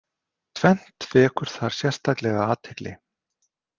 Tvennt vekur þar sérstaklega athygli.